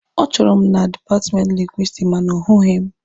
Ọ chọrọ m na dipatmenti Lingwisitiki ma na ọ hụghị m.